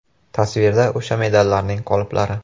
Tasvirda o‘sha medallarning qoliplari.